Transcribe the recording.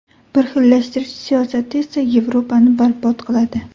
Birxillashtirish siyosati esa Yevropani barbod qiladi.